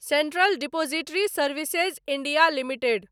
central depository services India limited